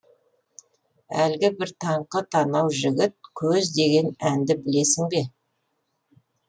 әлгі бір таңқы танау жігіт көз деген әнді білесің бе